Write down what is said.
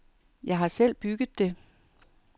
Jeg har selv bygget det.